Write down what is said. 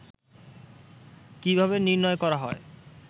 কিভাবে নির্ণয় করা হয়